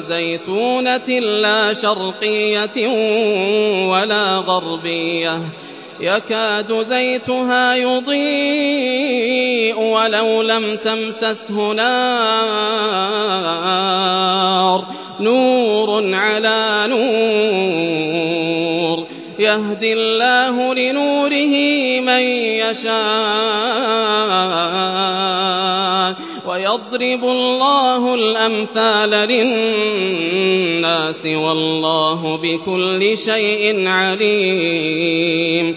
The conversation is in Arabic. زَيْتُونَةٍ لَّا شَرْقِيَّةٍ وَلَا غَرْبِيَّةٍ يَكَادُ زَيْتُهَا يُضِيءُ وَلَوْ لَمْ تَمْسَسْهُ نَارٌ ۚ نُّورٌ عَلَىٰ نُورٍ ۗ يَهْدِي اللَّهُ لِنُورِهِ مَن يَشَاءُ ۚ وَيَضْرِبُ اللَّهُ الْأَمْثَالَ لِلنَّاسِ ۗ وَاللَّهُ بِكُلِّ شَيْءٍ عَلِيمٌ